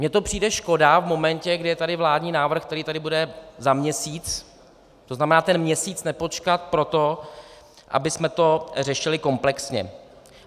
Mně to přijde škoda v momentě, kdy je tady vládní návrh, který tady bude za měsíc, to znamená ten měsíc nepočkat pro to, abychom to řešili komplexně.